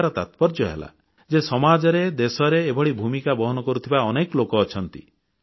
କହିବାର ତାତ୍ପର୍ଯ୍ୟ ହେଲା ଯେ ସମାଜରେ ଦେଶରେ ଏଭଳି ଭୂମିକା ବହନ କରୁଥିବା ଅନେକ ଲୋକ ଅଛନ୍ତି